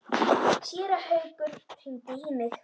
Séra Haukur hringdi í mig.